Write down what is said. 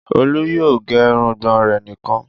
Olú yóò gẹ irùngbọ̀n rẹ̀ nìkan.